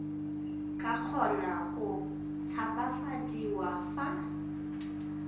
ka kgona go tshabafadiwa fa